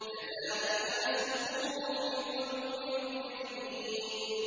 كَذَٰلِكَ نَسْلُكُهُ فِي قُلُوبِ الْمُجْرِمِينَ